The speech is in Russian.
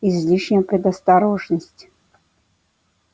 излишняя предосторожность